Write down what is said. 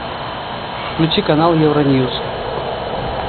включи канал евроньюс